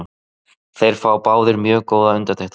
Þeir fá báðir mjög góðar undirtektir.